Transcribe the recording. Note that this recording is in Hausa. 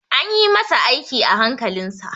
An ƴi masa aiki a hankalin sa.